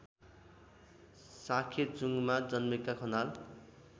साँखेजुङमा जन्मेका खनाल